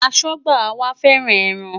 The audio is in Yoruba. Aṣọ́gbà wa fẹ́ràn ẹran.